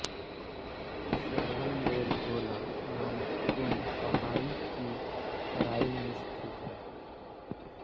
श्रवणबेलगोला नामक कुंड पहाड़ी की तराई में स्थित है